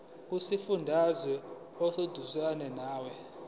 kusifundazwe oseduzane nawe